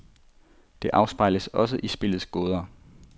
Det afspejles også i spillets gåder.